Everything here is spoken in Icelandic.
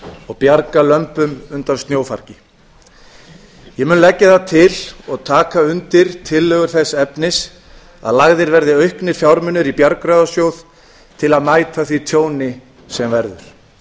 og bjarga lömbum undan snjófargi ég mun leggja það til og taka undir tillögu þess efnis að lagðir verði auknir fjármunir í bjargráðasjóð til að mæta því tjóni sem verður